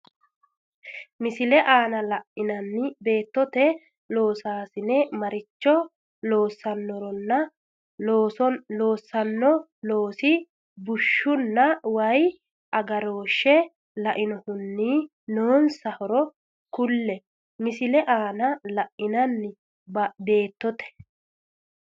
Misile aana la’inanni baattote loosaasine maricho loossannoronna loossanno loosi bushshunna wayi agarooshshe lainohunni noonsa horo kulle Misile aana la’inanni baattote.